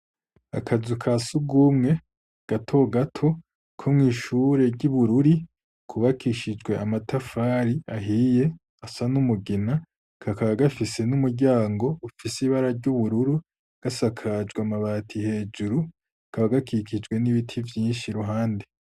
Akazu ka sugumwe gato gato ko mw'ishure ry'ibururi kubakishijwe amatafari ahiye asa n'umugina kakaba gafise n'umuryango ufise ibara ry'ubururu gasakajwe amabati hejuru kaba gakikijwe n'ibiti vyinshi ruhande.